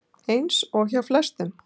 Eins og hjá flestum.